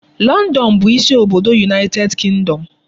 London bụ isi obodo United Kingdom.